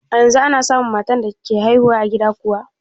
A yanzu ana samun matan da ke haihu a gida kuwa?